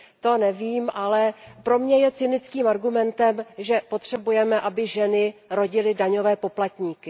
To nevím, ale pro mě je cynickým argumentem, že potřebujeme, aby ženy rodily daňové poplatníky.